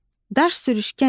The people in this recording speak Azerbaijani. Daş sürüşkən idi.